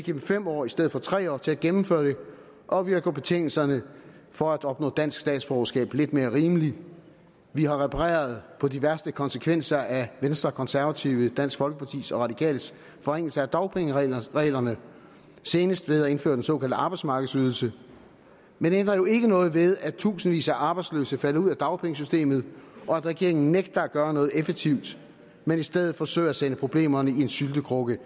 dem fem år i stedet for tre år til at gennemføre det og vi har gjort betingelserne for at opnå dansk statsborgerskab lidt mere rimelige vi har repareret på de værste konsekvenser af venstres konservatives dansk folkepartis og radikales forringelser af dagpengereglerne senest ved at indføre den såkaldte arbejdsmarkedsydelse men det ændrer jo ikke noget ved at tusindvis af arbejdsløse falder ud af dagpengesystemet og at regeringen nægter at gøre noget effektivt men i stedet forsøger at sende problemerne i en syltekrukke